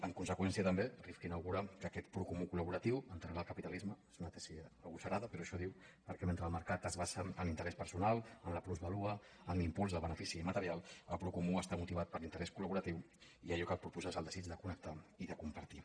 en conseqüència també rifkin augura que aquest procomú col·laboratiu enterrarà el capitalisme és una tesi agosarada però això diu perquè mentre el mer·cat es basa en l’interès personal en la plusvàlua en l’impuls del benefici material el procomú està motivat per l’interès col·laboratiu i allò que el propulsa és el desig de connectar i de compartir